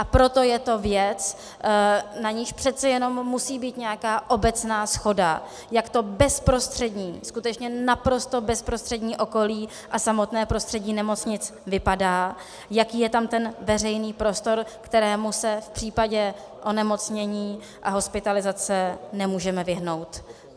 A proto je to věc, na níž přece jenom musí být nějaká obecná shoda, jak to bezprostřední, skutečně naprosto bezprostřední okolí a samotné prostředí nemocnic vypadá, jaký je tam ten veřejný prostor, kterému se v případě onemocnění a hospitalizace nemůžeme vyhnout.